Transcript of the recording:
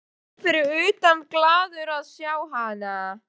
Týri lá fyrir utan og varð glaður að sjá hana.